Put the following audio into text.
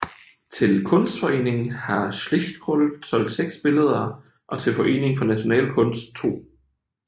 Til Kunstforeningen har Schlichtkrull solgt seks billeder og til Foreningen for National Kunst 2